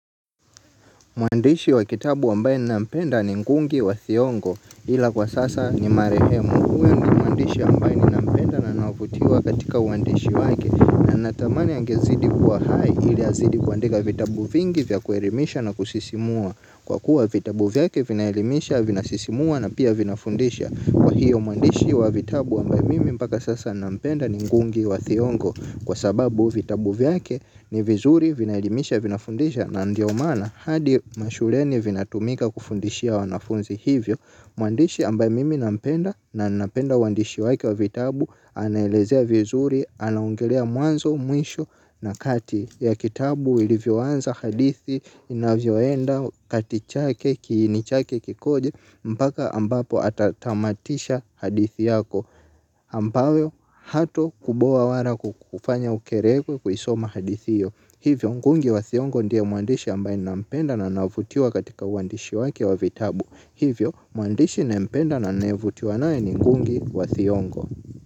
Mwandishi wa kitabu ambaye ninapenda ni ngungi wa thiongo ila kwa sasa ni marehemu. Kwa hiyo mwandishi ambaye ninapenda na navutiwa katika uandishi wake na natamani ya angezidi kuwa hai ilia zidi kuandiga vitabu vingi vya kuelimisha na kusisimua. Kwa kuwa vitabu vyake vinaelimisha vinasisimua na pia vinafundisha. Kwa hiyo mwandishi wa vitabu ambaye mimi mpaka sasa nampenda ni ngungi wa thiongo kwa sababu vitabu vyake ni vizuri vinaidimisha vinafundisha na ndio mana hadi mashuleni vinatumika kufundishia wanafunzi hivyo. Mwandishi ambaye mimi nampenda na nampenda uandishi waki wa vitabu, anaelezea vizuri, anaongelea mwanzo, mwisho na kati ya kitabu, ilivyoanza, hadithi, inavyoenda, kati chake, kini, chake, kikoje, mpaka ambapo atatamatisha hadithi yako, ambayo hato kuboo wala kukufanya ukerekwe kuisoma hadithiyo. Hivyo ngungi wa thiongo ndia mwandishi ambaye nampenda na navutiwa katika uandishi wake wa vitabu. Hivyo muandishi nampenda na navutiwa nae ni ngungi wa thiongo.